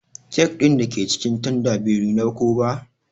kek dake cikin tanda bai nuna ko ba.